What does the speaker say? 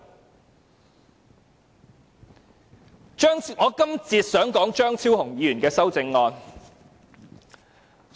我在這一節想談談張超雄議員的修正案。